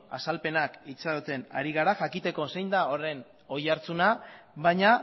azalpenak itxaroten ari gara jakiteko zein da horren oihartzuna baina